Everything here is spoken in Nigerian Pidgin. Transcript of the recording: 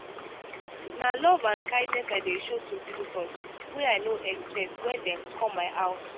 na love and kindness i dey show to visitors wey i no expect wen dem come my house.